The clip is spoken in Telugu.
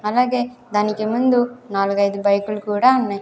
అలాగే దానికి ముందు నాలుగు ఐదు బైకులు కూడా ఉన్నాయి.